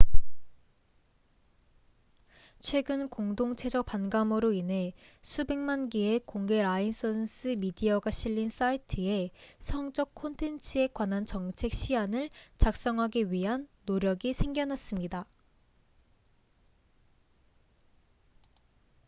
최근 공동체적 반감으로 인해 수백만 개의 공개 라이선스 미디어가 실린 사이트의 성적 콘텐츠에 관한 정책 시안을 작성하기 위한 노력이 생겨났습니다